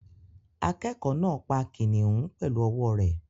Akẹ́kọ̀ọ́ náà pa kìnnìún pẹ̀lú ọwọ́ rẹ̀